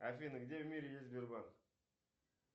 афина где в мире есть сбербанк